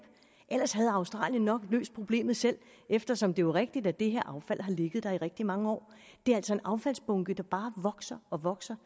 ellers havde australien nok løst problemet selv eftersom det jo er rigtigt at det her affald har ligget der i rigtig mange år det er altså en affaldsbunke der bare vokser og vokser